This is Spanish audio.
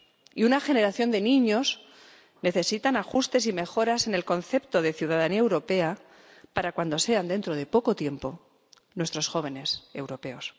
Y una generación de niños necesitan ajustes y mejoras en el concepto de ciudadanía europea para cuando sean, dentro de poco tiempo, nuestros jóvenes europeos.